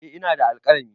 Eh ina da alkalami.